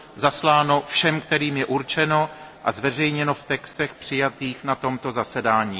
zasláno všem, kterým je určeno, a zveřejněno v textech přijatých na tomto zasedání.